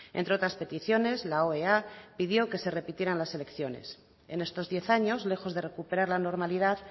entre otras peticiones la oea pidió que se repitieran las elecciones en estos diez años lejos de recuperar la normalidad